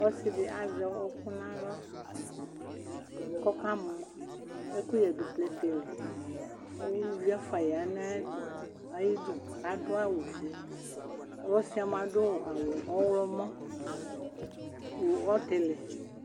Ɔsidi azɛ ɔkʋ nʋ aɣla kʋ ɔkamɔ ɛkʋyɛ dʋ plɛtɛli kʋ ʋlʋvi ɛfʋa yanʋ ayʋ ayidʋ adʋ awʋfʋe ɔsi yɛ mʋa adʋ awʋ ɔwlɔmɔ nʋ ɔtili